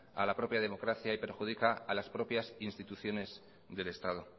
a la propia democracia y perjudica a las propias instituciones del estado